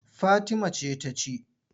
Fatima ce ta ci.